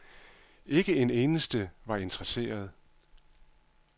Ikke en eneste var interesseret.